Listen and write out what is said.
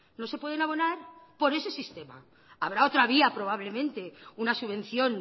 no se pueden abonar por ese sistema habrá otra vía probablemente una subvención